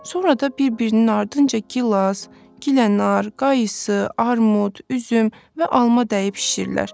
Sonra da bir-birinin ardınca gilas, gilənar, qaysı, armud, üzüm və alma dəyib şişirlər.